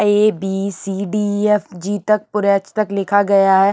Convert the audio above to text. ए B C D F G तक पुरे H तक लिखा गया है।